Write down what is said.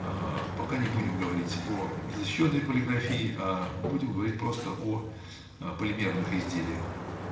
ээ пока не будем говорить о изощрённой полиграфии аа будем говорить просто о полимерных изделиях